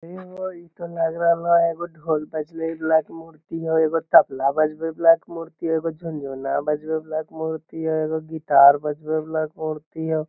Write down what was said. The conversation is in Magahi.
हेहो इता लग रहला एगो ढोल बजवे वाला के मूर्ति हेय एगो तबला बजवे वाला के मूर्ति हेय एगो झुनझुना बजवे वाला के मूर्ति हेय एगो गिटार बजवे वाला के मूर्ति हेय ।